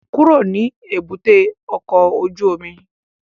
Kúrò ní èbúté ọkọ̀ ojú omi!